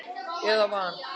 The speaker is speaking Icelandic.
eða van.